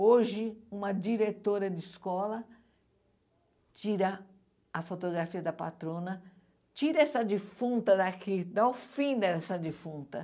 Hoje, uma diretora de escola tira a fotografia da patrona, tira essa defunta daqui, dá o fim dessa defunta.